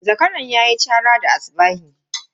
Zakaran ya yi chara da asubahi.